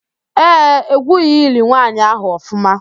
Ee, egwughị ili nwaanyị ahụ ọfụma